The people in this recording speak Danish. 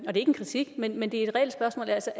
en kritik men men et reelt spørgsmål altså